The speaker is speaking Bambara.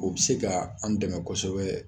O be se ka an dɛmɛ kosɛbɛ